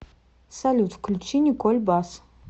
салют включи николь бас